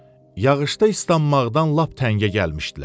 Yağışda islanmaqdan lap təngə gəlmişdilər.